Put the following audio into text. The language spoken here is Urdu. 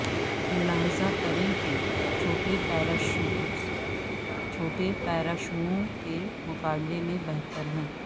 ملاحظہ کریں کہ چھوٹے پیراشوٹس چھوٹے پیراشووں کے مقابلے میں بہتر ہیں